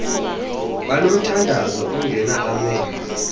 banomthandazo ongena amen